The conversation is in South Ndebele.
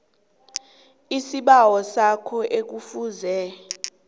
isibawo sakho ekufuze